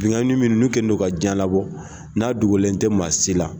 Benkanni minnu n'u kɛlen don ka jiɲɛ labɔ ,n'a dogolen tɛ maa si la